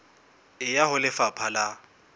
e ya ho lefapha la